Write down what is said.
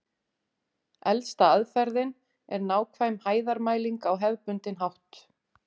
Elsta aðferðin er nákvæm hæðarmæling á hefðbundinn hátt.